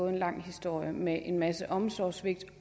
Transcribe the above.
en lang historie med en masse omsorgssvigt